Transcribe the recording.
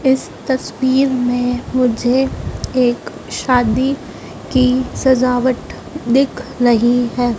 इस तस्वीर में मुझे एक शादी की सजावट दिख रही है।